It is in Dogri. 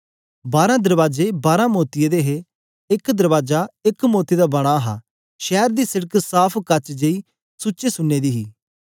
बारां दरबाजे बारां मोतियें दे हे एक दरबाजे एक इक मोती दा बना हा शैर दी सिड़क साफ़ काच जेई सुचे सुन्ने दी हे